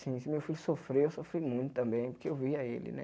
Se se meu filho sofreu, eu sofri muito também, porque eu via ele, né?